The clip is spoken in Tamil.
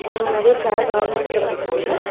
அங்க நறைய சேர்ஸ் ஆர்கனைஸ் பண்ணி இருக்காங்க.